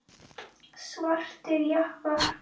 Svartir jakkar.